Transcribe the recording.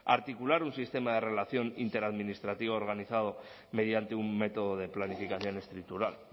articular un sistema de relación interadministrativa organizado mediante un método de planificación estructural